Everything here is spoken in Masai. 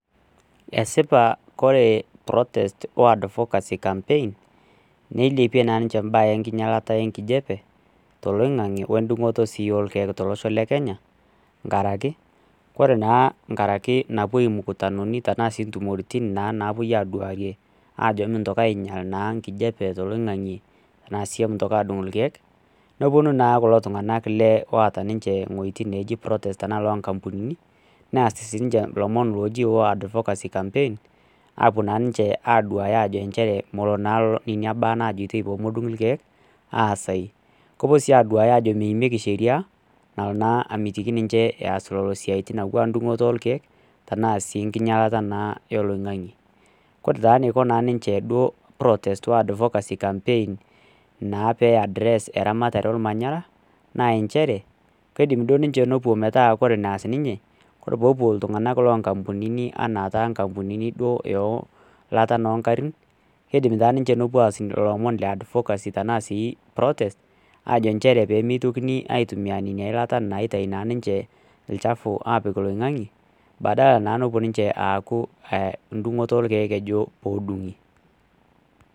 Esipata